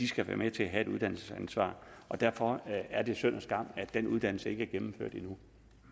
skal være med til at have et uddannelsesansvar og derfor er det synd og skam at den uddannelse ikke er gennemført endnu